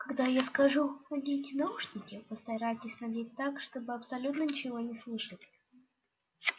когда я скажу наденьте наушники постарайтесь надеть так чтобы абсолютно ничего не слышать